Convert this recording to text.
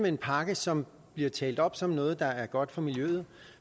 en pakke som bliver talt op som noget der er godt for miljøet